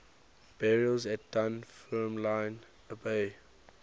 burials at dunfermline abbey